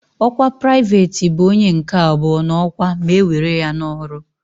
Ọkwa Pụraịveti bụ onye nke abụọ n'ọkwa ma e were ya n'ọrụ.